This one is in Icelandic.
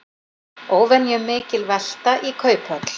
Óvenjumikil velta í Kauphöll